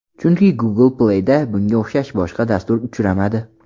Chunki Google Play’da bunga o‘xshash boshqa dastur uchramadi.